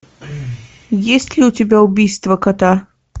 есть ли у тебя убийство кота